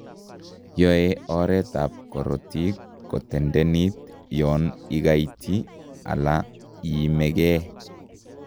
Yoe oret ab kototik ketendenit yoon ikaiti ala iimekee